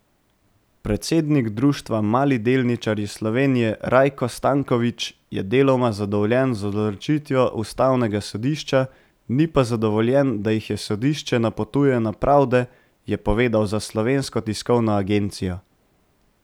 Predsednik Društva Mali delničarji Slovenije Rajko Stanković je deloma zadovoljen z odločitvijo ustavnega sodišča, ni pa zadovoljen, da jih sodišče napotuje na pravde, je povedal za Slovensko tiskovno agencijo.